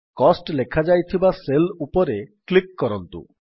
cost ଲେଖାଯାଇଥିବା cell ଉପରେ click କରନ୍ତୁ